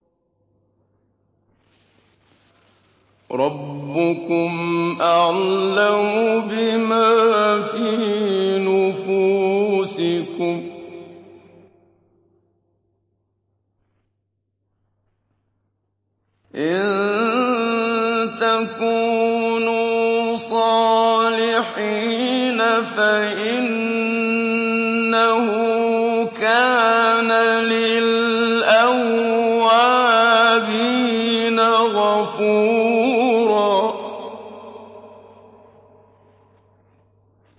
رَّبُّكُمْ أَعْلَمُ بِمَا فِي نُفُوسِكُمْ ۚ إِن تَكُونُوا صَالِحِينَ فَإِنَّهُ كَانَ لِلْأَوَّابِينَ غَفُورًا